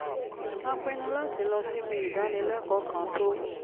a pinnu láti lọ síbi ìdánilẹ́kọ̀ọ́ kan tó